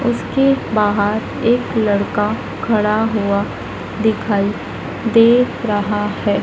उसके बाहर एक लड़का खड़ा हुआ दिखाई दे रहा है।